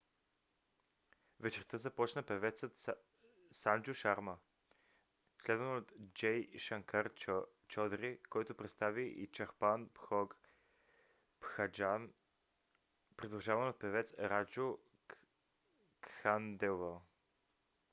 вечерта започна певецът санджу шарма следван от джей шанкар чодри който представи и чхапан бхог бхаджан придружаван от певец раджу кханделвал